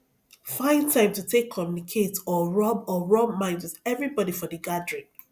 find time to take communicate or rub or rub mind with everybody for di gathering